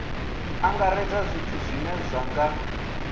angaredza zwithu zwine zwa nga